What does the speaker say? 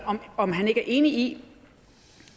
om han ikke er enig i